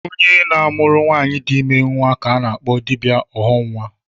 Onye na-amụrụ nwaanyị di ime nnwa ka a na-akpọ dibịa ọghọnnwa